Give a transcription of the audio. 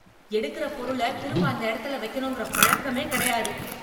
எடுக்ற பொருள திரும்ப அந்த எடத்துல வைக்கணும்ங்கிற பழக்கமே கிடையாது